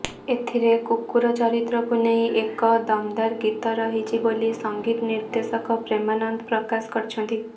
ଏଥିରେ କୁକୁର ଚରିତ୍ରକୁ ନେଇ ଏକ ଦମଦାର ଗୀତ ରହିଛି ବୋଲି ସଂଗୀତ ନିର୍ଦେଶକ ପ୍ରେମାନନ୍ଦ ପ୍ରକାଶ କରିଛନ୍ତି